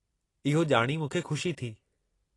इहो ॼाणी मूंखे खु़शी थी।